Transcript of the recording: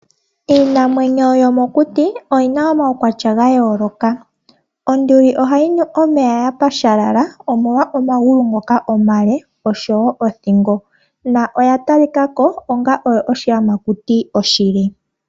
Iinamwenyo yomokuti oyi na omaukwatya ga yooloka. Onduli ohayi nu omeya ya pashalala, omolwa omagulu ngoka omale, noshowo othingo. Oya talikako onga oshiyamakuti oshile.